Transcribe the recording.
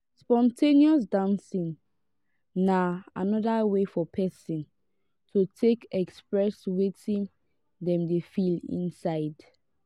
spon ten ous dancing na anoda way for person to take express wetin dem dey feel inside